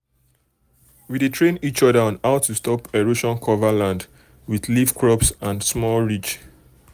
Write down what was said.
we dey train each other on how to stop erosion cover um land with leaf crops and small ridge.